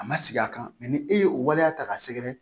A ma sigi a kan ni e ye o waleya ta k'a sɛgɛrɛ